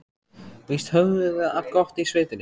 Víst höfðum við það gott í sveitinni.